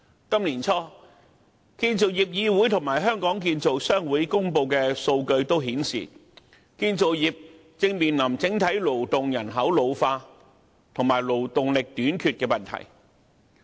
建造業議會和香港建造商會於今年年初公布的數據顯示，建造業正面對整體勞動人口老化及勞動力短缺的問題。